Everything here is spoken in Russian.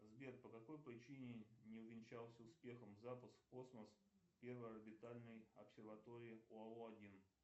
сбер по какой причине не увенчался успехом запуск в космос первой орбитальной обсерватории оао один